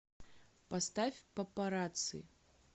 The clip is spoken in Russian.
поставь папарацци